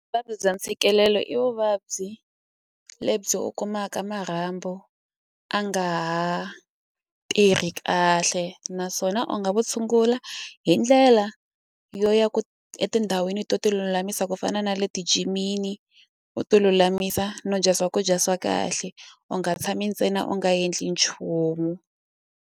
Vuvabyi bya ntshikelelo i vuvabyi lebyi u kumaka marhambu a nga ha tirhi kahle naswona u nga vu tshungula hi ndlela yo ya etindhawini to ti lulamisa ku fana na le ti jimini u ti lulamisa no dya swakudya swa kahle u nga tshami ntsena u nga yendli nchumu.